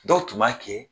Dɔw tun b'a kɛ